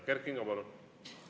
Kert Kingo, palun!